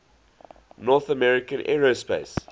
north american aerospace